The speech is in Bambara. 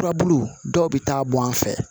Furabulu dɔw bɛ taa bɔn an fɛ